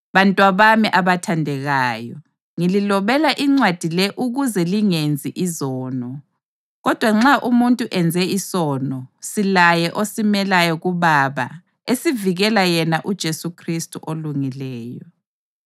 Bantwabami abathandekayo, ngililobela incwadi le ukuze lingenzi izono. Kodwa nxa umuntu enze isono, silaye osimelayo kuBaba esivikela yena uJesu Khristu oLungileyo.